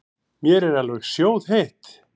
Mér er alveg sjóðheitt.